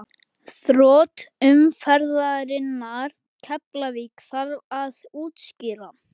Þrot umferðarinnar: Keflavík Þarf að útskýra?